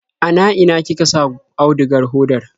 Ana ina kika sa audugar hodar?